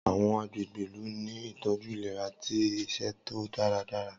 Awọn agbegbe ilu ni itọju ilera ti iṣeto daradara.